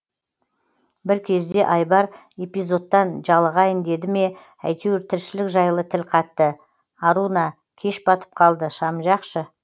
бір кезде айбар эфизодтан жалығайын деді ме әйтеуір тіршілік жайлы тіл қатты аруна кеш батып қалды шам жақшы